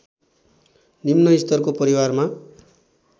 निम्न स्तरको परिवारमा